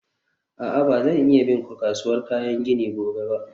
a'a, ba zan iya bin ku kasuwar kayan gini gobe ba.